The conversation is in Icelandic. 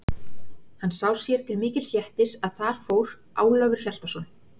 Hann sá sér til mikils léttis að þar fór Ólafur Hjaltason.